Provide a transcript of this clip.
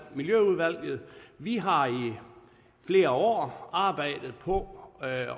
miljøudvalget vi har i flere år arbejdet på at